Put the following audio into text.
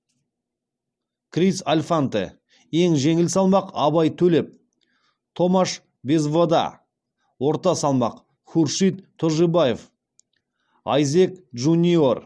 крис альфанте ең жеңіл салмақ абай төлеп томаш безвода орта салмақ хуршид тожибаев айзек джуниор